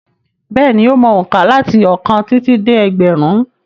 Bẹ́ẹ̀ni, ó mọ òǹkà láti ọ̀kan títí dé ẹgbẹ̀rún.